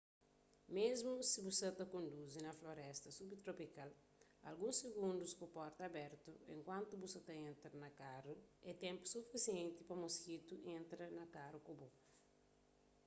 mésmu si bu sa ta konduzi na floresta subtropikal alguns sigundus ku porta abertu enkuantu bu sa ta entra na karu é ténpu sufisienti pa moskitus entra na karu ku bo